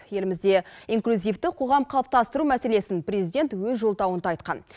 елімізде инклюзивті қоғам қалыптастыру мәселесін президент өз жолдауында айтқан